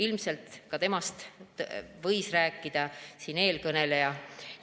Ilmselt võis nendest rääkida ka eelkõneleja.